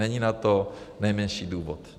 Není pro to nejmenší důvod.